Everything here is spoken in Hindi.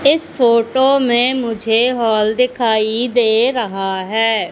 इस फोटो में मुझे हाल दिखाई दे रहा है।